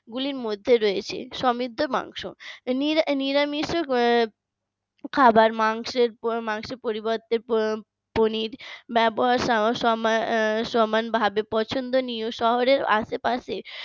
গুলির মধ্যে রয়েছে সমৃদ্ধ মাংস নিরামিষও খাবার মাংসের মাংসের পরিবর্তে পনির সমান ভাবে পছন্দনীয় শহরের আশেপাশে